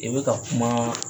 I be ka kuma